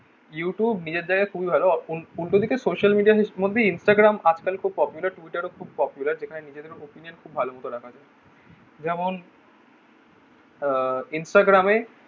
you tube নিজের জায়গায় খুবই ভালো উল্টো দিকে social media র মধ্যে instagram আজ কাল খুব popular tweeter ও খুব popular যেখানে নিজেদের opinion খুব ভালো করে রাখা যায় যেমন আহ instagram এ